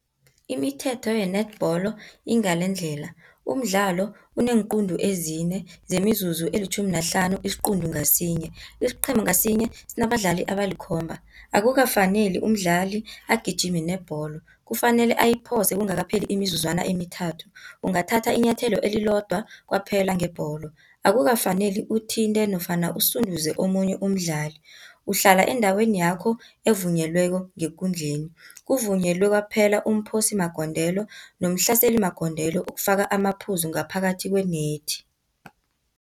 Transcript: Imithetho yenetbholo ingalendlela, umdlalo uneenquntu ezine nemizuzu elitjhumi nahlanu isiquntu ngasinye. Isiqhema ngasinye sinabadlali abalikhomba. Akukafaneli umdlali agijime nebholo, kufanele ayiphose kungakapheli imizuzwana emithathu, ungathatha inyathelo elilodwa kwaphela ngebholo. Akukafaneli uthinte nofana usunduze omunye umdlali, uhlala endaweni yakho evunyelweko ngekundleni. Kuvunyelwe kwaphela umphosimagondelo nomhlaselimagondelo ukufaka amaphuzu ngaphakathi kwenethi.